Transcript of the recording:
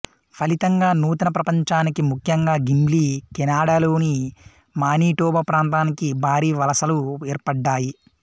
ఫలితంగా నూతన ప్రపంచానికి ముఖ్యంగా గిమ్లీ కెనడాలోని మానిటోబా ప్రాంతానికి భారీ వలసలు ఏర్పడ్డాయి